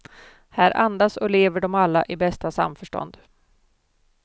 Här andas och lever de alla i bästa samförstånd.